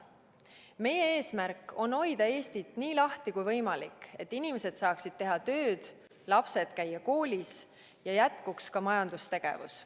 Meie eesmärk on hoida Eestit nii lahti kui võimalik, et inimesed saaksid teha tööd, lapsed saaksid käia koolis ja jätkuks ka majandustegevus.